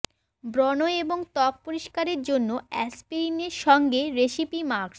ব্রণ এবং ত্বক পরিষ্কারের জন্য অ্যাসপিরিন সঙ্গে রেসিপি মাস্ক